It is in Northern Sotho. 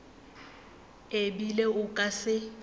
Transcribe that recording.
e bile o ka se